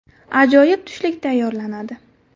Ajoyib tushlik tayyorlanadi.